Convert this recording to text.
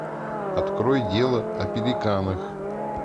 открой дело о пеликанах